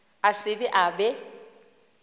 a se ke a be